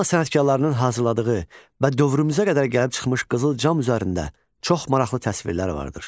Manna sənətkarlarının hazırladığı və dövrümüzə qədər gəlib çıxmış qızıl cam üzərində çox maraqlı təsvirlər vardır.